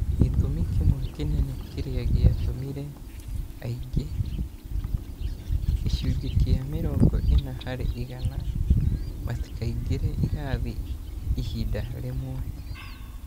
Gĩtũmi kĩmwe kĩnene kĩrĩa gĩatũmire aingĩ (gĩcunjĩ kĩa mĩrongo-ĩna harĩ igana) matikaingĩre irathi ihinda rĩmwe.